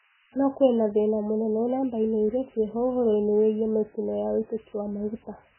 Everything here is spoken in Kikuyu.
No kuina thina mũnene namba-ini iria ciiho uhoro-ini wigie mitino ya ũitiki wa maguta.